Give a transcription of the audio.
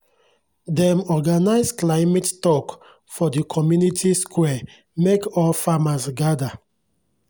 dem organise climate tok for di community square mek all farmers gada